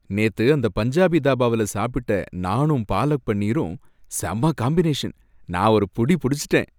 நேத்து அந்த பஞ்சாபி தாபாவுல சாப்பிட்ட நாணும் பாலக் பனீரும் செம்ம காம்பினேஷன், நான் ஒரு புடி புடிச்சிட்டேன்.